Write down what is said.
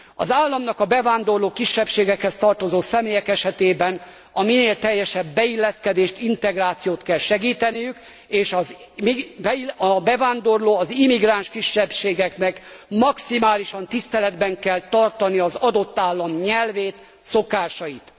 Az államnak a bevándorló kisebbségekhez tartozó személyek esetében a minél teljesebb beilleszkedést, integrációt kell segíteniük, és a bevándorló, az immigráns kisebbségeknek maximálisan tiszteletben kell tartani az adott állam nyelvét, szokásait.